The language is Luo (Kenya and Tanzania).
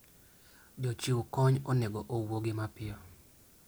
Jochiw kony onego owuogi mapiyo.